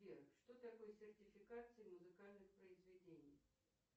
сбер что такое сертификация музыкальных произведений